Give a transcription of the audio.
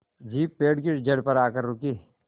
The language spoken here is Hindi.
जीप पेड़ की जड़ पर आकर रुकी